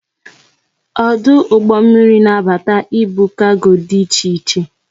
Ọdụ ụgbọ mmiri na abata ibu kargo dị iche iche